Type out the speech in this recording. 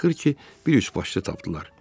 Axırı ki, bir üçbaşlı tapdılar.